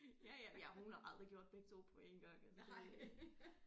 Ja ja ja hun har aldrig gjort begge 2 på én gang altså det